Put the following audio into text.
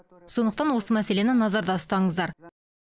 сондықтан осы мәселені назарда ұстаңыздар